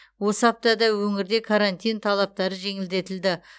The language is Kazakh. осы аптада өңірде карантин талаптары жеңілдетілді